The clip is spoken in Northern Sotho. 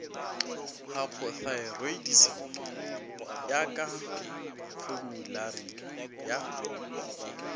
hypothyroidism ya ka formulari ya